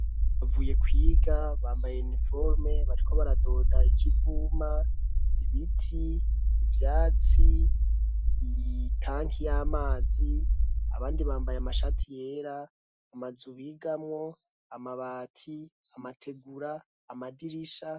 Bavuye kwiga bambaye iniforome, bariko baradoda ikivuma, ibiti, ivyatsi ,itanki y'amazi abandi bambaye amashati yera, amazu bigamwo, amabati, amategura, amadirisha.